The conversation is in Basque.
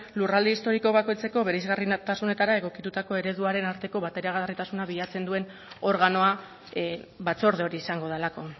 lurralde historiko bakoitzeko bereizgarritasunetara egokitutako ereduaren arteko bateragarritasuna bilatzen duen organoa batzorde hori izango delako